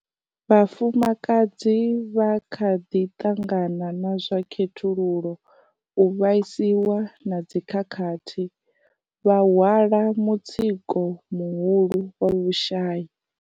Vhafumakadzi vha kha ḓi ṱangana na zwa khethululo, u vhaiswa na dzikhakhathi, vha hwala mutsiko muhulu wa vhushai.